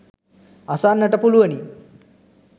අසන්නට පුළුවනි.